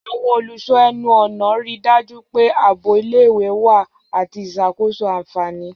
Àwọn olùṣọ́ ẹnu-ọ̀nà rí i dájú pé ààbò ilé-ìwé wà àti ìṣàkóso àfààní.